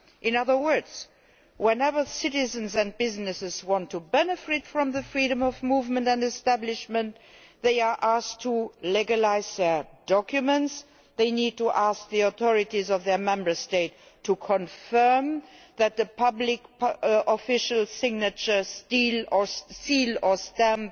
In other words, whenever citizens and businesses want to benefit from freedom of movement and establishment, they are asked to legalise documents and they need to ask the authorities of their Member State to confirm that the public official signatures, seals or stamps